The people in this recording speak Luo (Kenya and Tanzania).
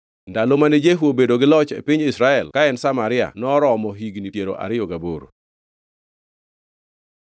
Ndalo mane Jehu obedo gi loch e piny Israel ka en Samaria noromo higni piero ariyo gaboro.